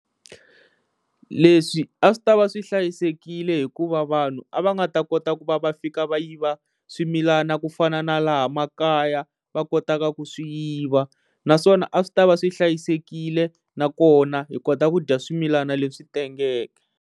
Leswi a swi ta va swi hlayisekile hikuva vanhu a va nga ta kota ku va va fika va yiva swimilana ku fana na laha makaya va kotaka ku swi yiva naswona a swi tava swi hlayisekile na kona hi kota ku dya swimilana leswi tengeke.